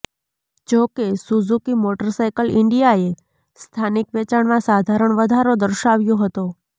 જોકે Suzuki motorcycle ઈન્ડિયાએ સ્થાનિક વેચાણમાં સાધારણ વધારો દર્શાવ્યો હતો